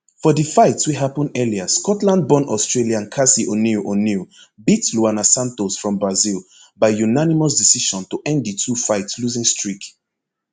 for di fights wey happun earlier scotlandborn australian casey oneill oneill beat luana santos from brazil by unanimous decision to end di twofight losing streak